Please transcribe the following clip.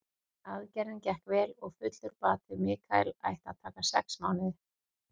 Aðgerðin gekk vel og fullur bati Michael ætti að taka sex mánuði.